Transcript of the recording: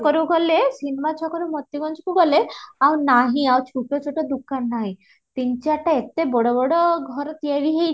ଏ ଯୋଉ ସିନେମା ଛକ ରୁ ଗଲେ ସିନେମା ଛକ ରୁ ମୋତିଗଅଞ୍ଜ କୁ ଗଲେ ଆଉ ନାହିଁ ଆଉ ଛୋଟ ଛୋଟ ଦୋକାନ ନାହିଁ ତିନ ଚାରିଟା ଏତେ ବଡ ବଡ ଘର ତିଆରି